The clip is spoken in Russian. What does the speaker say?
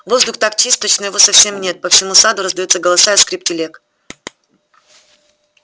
воздух так чист точно его совсем нет по всему саду раздаются голоса и скрип телег